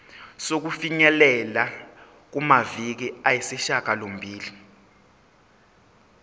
sokufinyelela kumaviki ayisishagalombili